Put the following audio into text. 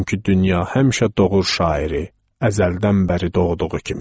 Çünki dünya həmişə doğur şairi əzəldən bəri doğduğu kimi.